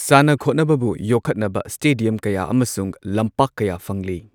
ꯁꯥꯟꯅ, ꯈꯣꯠꯅꯕꯕꯨ ꯌꯣꯛꯈꯠꯅꯕ ꯁ꯭ꯇꯦꯗꯤꯌꯝ ꯀꯌꯥ ꯑꯃꯁꯨꯡ ꯂꯝꯄꯥꯛ ꯀꯌꯥ ꯐꯪꯂꯤ꯫